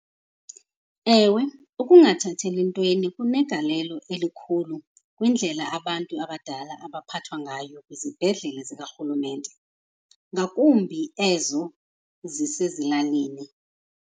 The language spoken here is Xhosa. Ewe, ukungathatheli ntweni kunegalelo elikhulu kwindlela abantu abadala abaphathwa ngayo kwizibhedlele zikarhulumente, ngakumbi ezo zisezilalini.